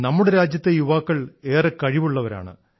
നമ്മുടെ രാജ്യത്തെ യുവാക്കൾ ഏറെ കഴിവുള്ളവരാണ്